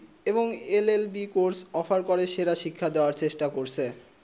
এবং LLB course offer করে সেরা শিক্ষা দেবা চেষ্টা করে